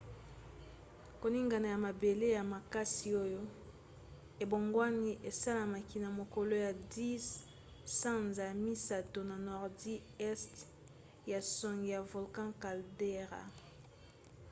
koningana ya mabele ya makasi oyo ebongwani esalamaki na mokolo ya 10 sanza ya misato na nordi este ya songe ya volcan caldera